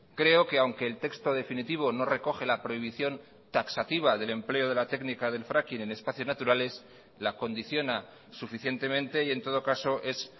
creo que aunque el texto definitivo no recoge la prohibición taxativa del empleo de la técnica del fracking en espacios naturales la condiciona suficientemente y en todo caso es